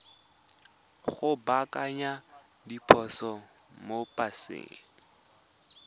go baakanya diphoso mo paseng